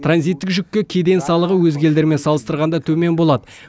транзиттік жүкке кеден салығы өзге елдермен салыстырғанда төмен болады